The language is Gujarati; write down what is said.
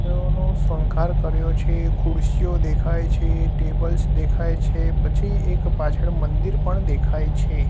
ફૂલોનું શણગાર કર્યો છે ખુરશીઓ દેખાય છે ટેબલ્સ દેખાય છે પછી એક પાછળ મંદિર પણ દેખાય છે.